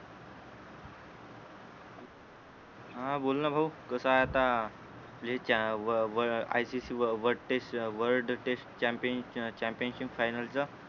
हा बोलना भाऊ कस आहे आता ठीक हे व व ah C C world test um world test champion championship final च